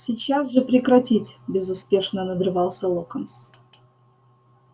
сейчас же прекратить безуспешно надрывался локонс